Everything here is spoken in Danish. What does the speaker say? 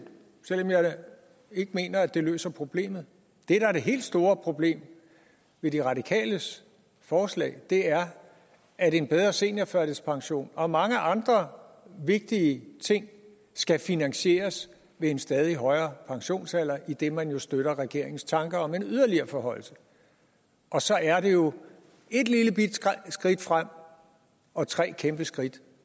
selv om jeg ikke mener at det løser problemet det der er det helt store problem ved de radikales forslag er at en bedre seniorførtidspension og mange andre vigtige ting skal finansieres ved en stadig højere pensionsalder idet man jo støtter regeringens tanker om en yderligere forhøjelse og så er det jo et lillebitte skridt frem og tre kæmpeskridt